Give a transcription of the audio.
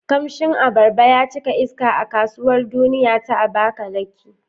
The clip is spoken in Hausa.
Kamshin abarba ya cika iska a Kasuwar Duniya ta Abakaliki.